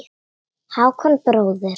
Hákon bróðir.